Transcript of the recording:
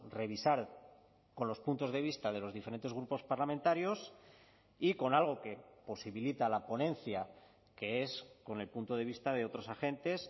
revisar con los puntos de vista de los diferentes grupos parlamentarios y con algo que posibilita la ponencia que es con el punto de vista de otros agentes